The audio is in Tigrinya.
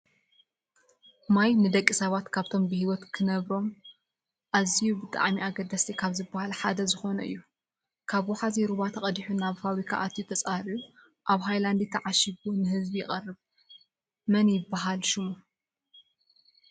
ማይ ነደቂ ሰባት ካብቶም ብሂወት ክነብሮም ኣዝዮም ብጣዕሚኣገደሲቲ ካብ ዝብሃል ሓደ ዝኮነ እዩ። ካብውሓዚ ሩባ ተቀዲሑ ናብ ፋብርካ ኣትዩ ተፃርዩ ኣብ ሃይላንድ ትዓሽጉ ንህዝቢ ይቀርብ። መን ይብሃል ሽሙ?